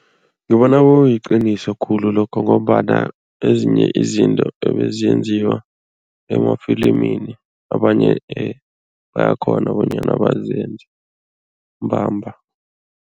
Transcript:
Ngibona kuyiqiniso khulu lokho ngombana ezinye izinto ebeziyenziwa emafilimini, abanye bayakghona bonyana bazenze mbamba.